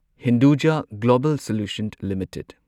Hinduja global solution limited